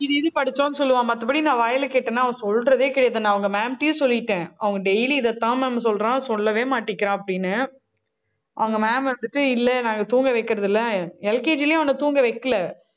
இது, இது படிச்சோம்ன்னு சொல்லுவான். மத்தபடி நான் வாயில கேட்டேன்னா அவன் சொல்றதே கிடையாது. நான் அவங்க ma'am ட்டயும் சொல்லிட்டேன். அவங்க daily இதைத்தான் ma'am சொல்றான் சொல்லவே மாட்டேங்கிறான் அப்படின்னு அவங்க ma'am வந்துட்டு இல்ல நாங்க தூங்க வைக்கிறது இல்ல. LKG லயும் அவன தூங்க வைக்கல.